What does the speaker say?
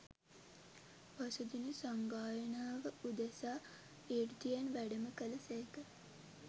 පසු දින සංගායනාව උදෙසා ඍද්ධියෙන් වැඩම කළ සේක